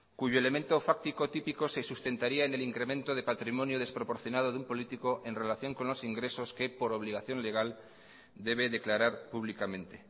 cuyo elemento fáctico típico se sustentaría en el incremento de patrimonio desproporcionado de un político en relación con los ingresos que por obligación legal debe declarar públicamente